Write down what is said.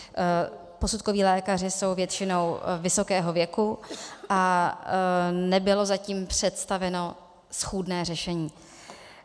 Posudkoví lékaři jsou většinou vysokého věku a nebylo zatím představeno schůdné řešení.